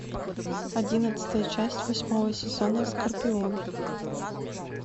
одиннадцатая часть восьмого сезона скорпион